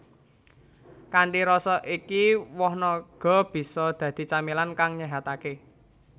Kanthi rasa iki woh naga bisa dadi camilan kang nyéhataké